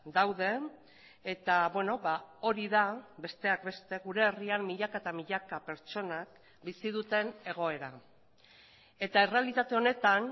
daude eta hori da besteak beste gure herrian milaka eta milaka pertsonak bizi duten egoera eta errealitate honetan